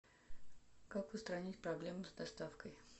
как устранить проблему с доставкой